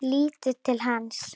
Lítur til hans.